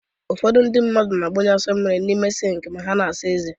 Ụfọdụ ndị mmadụ na-agbụnye asọ mmiri n'ime sịnk ma ha na-asa ezé